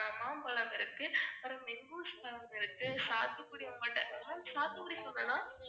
மாம்பழம் இருக்கு, அப்புறம் மெங்கூஸ் பழம் இருக்கு, சாத்துக்குடி உங்ககிட்ட ma'am சாத்துக்குடி சொன்னனா?